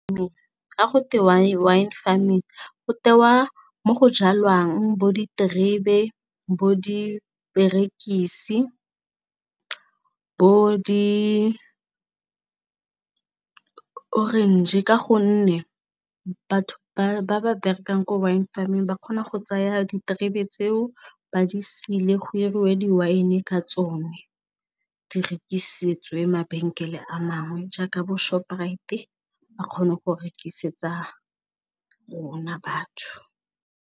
Ga go twe wine wine farming go tewa mo go jalwang bo diterebe bo diperekisi bo di orange ka gonne batho ba ba berekang ko wine farming ba kgona go tsaya diterebe tseo ba di sile go 'iriwe di wine ka tsone di rekisetse mabenkele a mangwe jaaka bo shoprite ba kgone go rekisetsa rona batho.